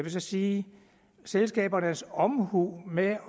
sige selskabernes omhu med at